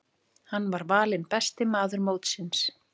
Hann var valinn besti maður mótsins.